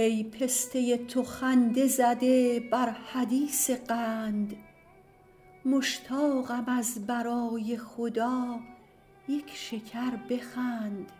ای پسته تو خنده زده بر حدیث قند مشتاقم از برای خدا یک شکر بخند